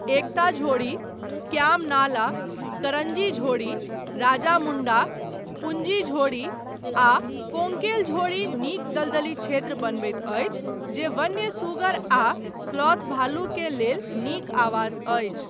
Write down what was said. एकता झोड़ी, क्याम नाला, करञ्जी झोड़ी, राजामुण्डा, पुञ्जी झोड़ी, आ कोङ्केल झोड़ी नीक दलदली क्षेत्र बनबैत अछि जे वन्य सुगर आ स्लॉथ भालु के लेल नीक आवास अछि।